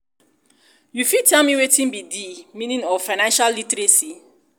you fit tell me wetin be di be di meaning of financial literacy